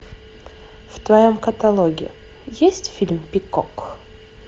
в твоем каталоге есть фильм пикок